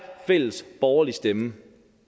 fælles borgerlig stemme